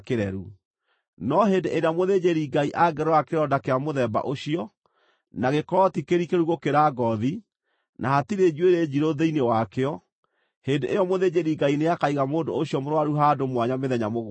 No hĩndĩ ĩrĩa mũthĩnjĩri-Ngai angĩrora kĩronda kĩa mũthemba ũcio, na gĩkorwo ti kĩrikĩru gũkĩra ngoothi, na hatirĩ njuĩrĩ njirũ thĩinĩ wakĩo, hĩndĩ ĩyo mũthĩnjĩri-Ngai nĩakaiga mũndũ ũcio mũrũaru handũ mwanya mĩthenya mũgwanja.